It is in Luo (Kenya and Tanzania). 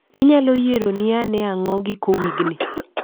Inyaloyieroni anee ang'o giko wigni?